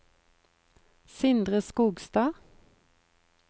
Sindre Skogstad